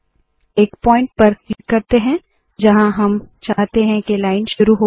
एक पॉइंट पर क्लिक करते है जहाँ हम चाहते है के लाइन शुरू हो